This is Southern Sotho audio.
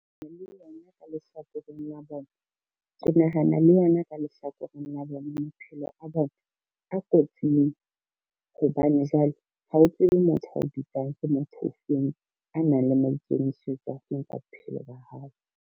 Ke nahana le yona ka lehlakoreng la bona maphelo a bona a kotsing, hobane jwale ha o tsebe motho ao bitsang ke motho o feng, a nang le maikemisetso a feng ka bophelo ba hao.